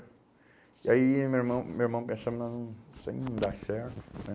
E aí meu irmão meu irmão isso aí não, isso aí não dá certo né.